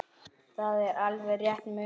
Það er alveg rétt munað.